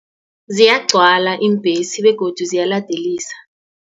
Ziyagcwala iimbhesi begodu ziyaladelisa.